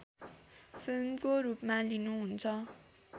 फिल्मको रूपमा लिनुहुन्छ